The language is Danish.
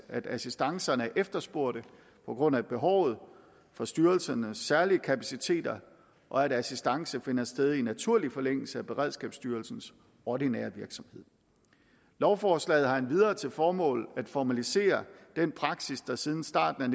assistancerne er efterspurgte på grund af behovet for styrelsernes særlige kapaciteter og at assistance finder sted i naturlig forlængelse af beredskabsstyrelsens ordinære virksomhed lovforslaget har endvidere til formål at formalisere den praksis der siden starten